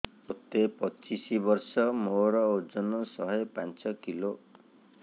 ମୋତେ ପଚିଶି ବର୍ଷ ମୋର ଓଜନ ଶହେ ପାଞ୍ଚ କିଲୋ